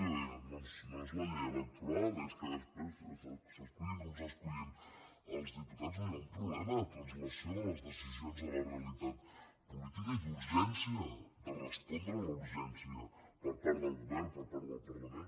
jo li deia no és la llei electoral és que després s’escullin com s’escullin els diputats hi ha un problema de translació de les decisions de la realitat política i d’urgència de respondre la urgència per part del govern per part del parlament